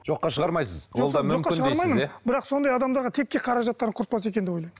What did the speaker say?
жоққа шығармайсыз бірақ сондай адамдарға текке қаражатарын құртпаса екен деп ойлаймын